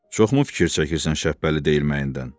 Çoxmu fikir çəkirsən Şəbbəli deyilməyindən?